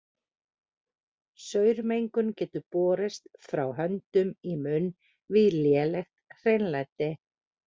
Saurmengun getur borist frá höndum í munn við lélegt hreinlæti.